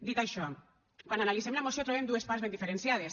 dit això quan analitzem la moció trobem dues parts ben diferenciades